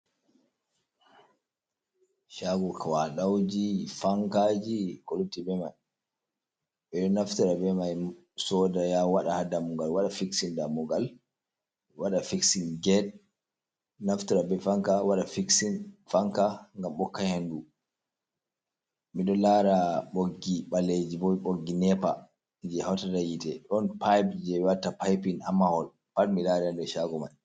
Cha wa dauji fankaji kolupti bmai b naftara b mai soda ya wada hadamugal wada fiksin dammugal wada fiksin gete naftara be fanca wada fiksin fanka gam bokahendu midon lara boggi baleji b boggi nepar je hautar dayite don pipe je watta pipin ammahol parmi lari arde shago mai.